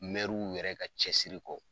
yɛrɛ ka cɛsiri kɔ